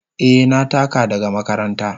Eh, na taka daga makaranta.